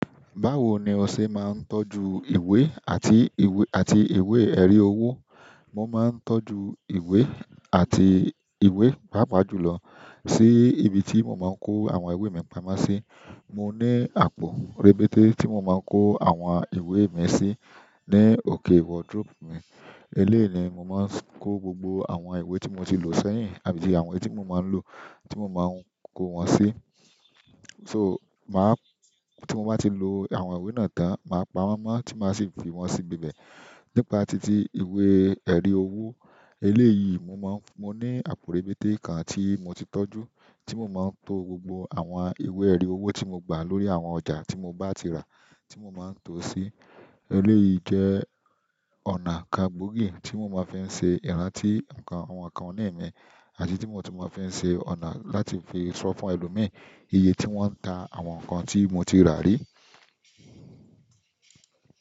Báwo ni o ṣe máa ń tọ́jú ìwé àti ìwé, àti ìwé erí owó? Mo máa ń tọ́jú ìwé àti ìwé, pàápàá jùlọ sí ibi tí mo máa ń kó àwọn ìwé mi pamọ́ sí. Mo ní àpò rebéte tí mo máa ń kó àwọn ìwé mi sí ní òkè wardrobe mi. Eléèni, mo máa ń kó gbogbo àwọn ìwé tí mo ti lò sẹ́yìn àbí àwọn tí mo máa ń lò tí mo máa ń kó wọn sí. So máà tí mo bá ti lò àwọn ìwé náà tán maa p'awọn mọ ti máa si fi wọn si bíbẹ nípa titi ìwé erí owó eléyìí, mo máa ń, mo ní àpò rebéte kan tí mo ti tọ́jú, tí mo máa ń to gbogbo àwọn ìwé erí owó tí mo gbà lórí àwọn ọjà tí mo bá ti rà tí mo máa ń to sí. Eléyìí jẹ́ ọ̀nà kan gbòógì tí mo máa ń fi ṣe ìrántí nǹkan àwọn nǹkan oní ẹ̀mí àti tí mo ti máa ń fi ṣe ọ̀nà láti fi sọ fún ẹlòmíràn iye tí wọ́n ń ta àwọn nǹkan tí mo ti rà rí.